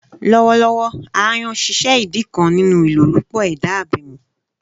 Lọwọlọwọ, "aayan" ṣiṣẹ idi kan ninu ilolupo eda abemi.